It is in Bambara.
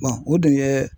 o dun ye